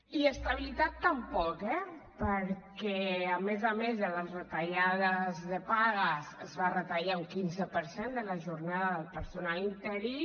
i estabilitat tampoc eh perquè a més a més de les retallades de pagues es va retallar un quinze per cent de la jornada del personal interí